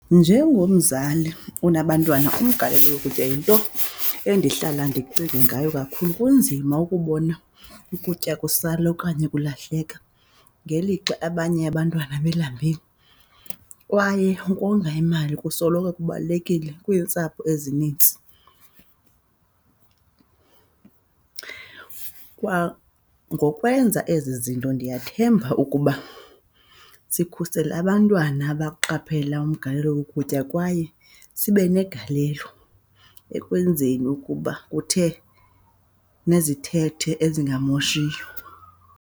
Njengomzali onabantwana umgalelo wokutya yinto endihlala ndicinge ngayo kakhulu. Kunzima ukubona ukutya kusala okanye kulahleka ngelixa abanye abantwana belambile, kwaye ukonga imali kusoloko kubalulekile kwiintsapho ezinintsi. Kwangokwenza ezi zinto ndiyathemba ukuba sikhusela abantwana abaqaphela umgalelo wokutya, kwaye sibe negalelo ekwenzeni ukuba kuthe nezithethe ezingamoshiyo.